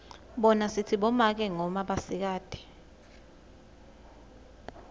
bona sitsi bomake noma basikati